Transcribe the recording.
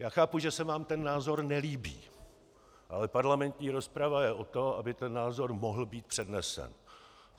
Já chápu, že se vám ten názor nelíbí, ale parlamentní rozprava je od toho, aby ten názor mohl být přednesen.